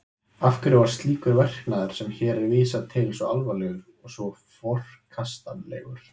Af hverju var slíkur verknaður sem hér er vísað til svo alvarlegur og svo forkastanlegur?